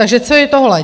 Takže co je tohle?